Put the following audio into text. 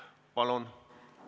Palun!